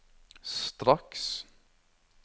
straks